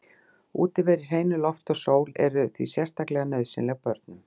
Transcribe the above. Útivera í hreinu lofti og sól er því sérstaklega nauðsynleg börnum.